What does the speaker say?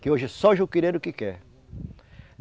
Que hoje só juquireiro que quer.